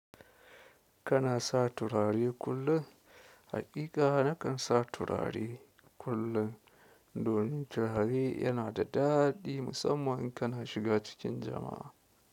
Kana sa turare kullum? Haƙiƙa nakan sa turare kullum, domin turare yana da daɗi musamman in kana shiga cikin jama'a.